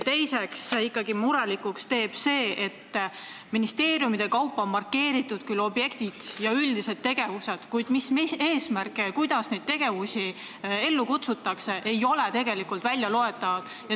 Teiseks, ikkagi teeb murelikuks, et ministeeriumide kaupa on markeeritud küll objektid ja üldised tegevused, kuid mis eesmärgil ja kuidas neid tegevusi ellu kutsutakse, ei ole tegelikult välja loetav.